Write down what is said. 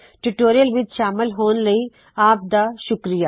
tutorial ਵਿੱਚ ਸ਼ਾਮਲ ਹੋਣ ਲਈ ਆਪ ਦਾ ਬਹੁਤ ਸ਼ੁਕਰਿਆ